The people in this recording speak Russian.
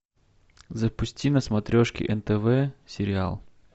запусти на смотрешке нтв сериал